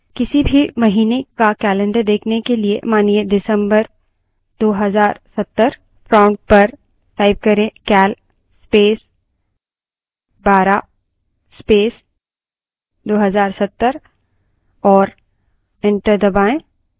किसी भी महीने का calendar देखने के लिए मानिए december २०७० prompt पर cal space 12 space 2070 type करें और enter दबायें